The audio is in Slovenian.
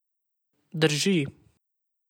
Drži.